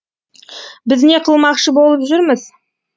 біз не қылмақшы болып жүрміз